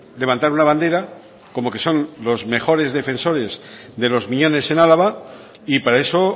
levantar una bandera como que son los mejores defensores de los miñones en álava y para eso